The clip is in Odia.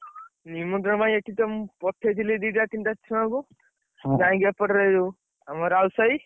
ନିମନ୍ତ୍ରଣ ପାଇଁ ଏଠିତ ମୁଁ, ପଠେଇଥିଲି ଦିଟା ତିନିଟା, ଛୁଆଙ୍କୁ। ଯାଇକି ଏପଟରେ ଯୋଉ, ଆମ ରାଉତ ସାହି।